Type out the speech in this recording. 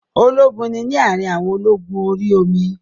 Ológun ni ní àrin àwọn ológun orí omi